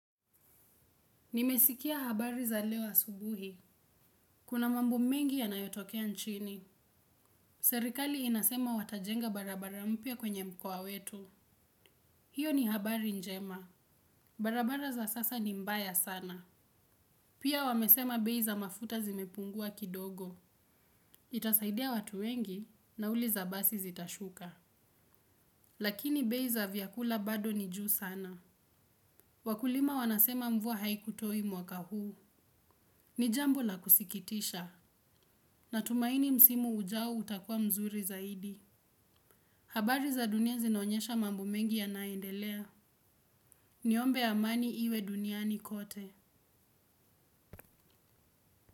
Nimesikia habari za leo asubuhi. Kuna mambo mengi yanayotokea nchini. Serikali inasema watajenga barabara mpya kwenye mkoa wetu. Hiyo ni habari njema. Barabara za sasa ni mbaya sana. Pia wamesema bei za mafuta zimepungua kidogo. Itasaidia watu wengi nauli za basi zitashuka. Lakini bei za vyakula bado ni juu sana. Wakulima wanasema mvua haikutoi mwaka huu. Ni jambo la kusikitisha. Natumaini msimu ujao utakua mzuri zaidi. Habari za dunia zinonyesha mambo mengi ya naendelea. Ni ombe amani iwe duniani kote.